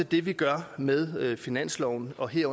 det vi gør med finanslovsforslaget